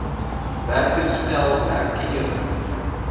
werker stel werkgewer